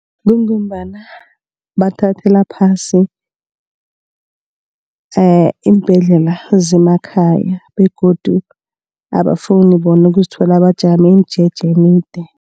Kungombana bathathela phasi iimbhedlela zemakhaya begodu abafuni bona ukuzithola bajame imijeje emide.